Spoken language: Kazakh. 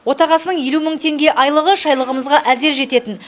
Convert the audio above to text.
отағасының елу мың теңге айлығы шайлығымызға әзер жететін